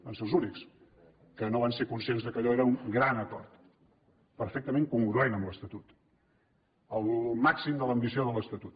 van ser els únics que no van ser conscients que allò era un gran acord perfectament congruent amb l’estatut al màxim de l’ambició de l’estatut